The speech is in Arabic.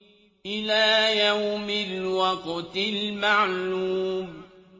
إِلَىٰ يَوْمِ الْوَقْتِ الْمَعْلُومِ